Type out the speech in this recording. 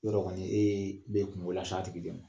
Yɔrɔ kɔni e ye be kunko la s'a tigi de ma.